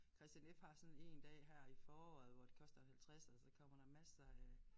Kristian F. har sådan én dag her i foråret hvor det koster en halvtredser og så kommer der masser af